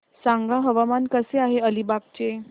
सांगा हवामान कसे आहे अलिबाग चे